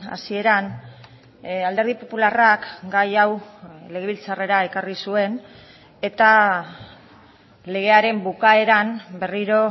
hasieran alderdi popularrak gai hau legebiltzarrera ekarri zuen eta legearen bukaeran berriro